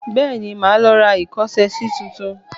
Bẹ́ẹ̀ni, màá lọ ra ìkọ́ṣẹsí tuntun